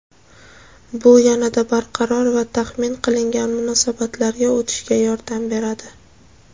bu "yanada barqaror va taxmin qilingan munosabatlarga" o‘tishga yordam beradi.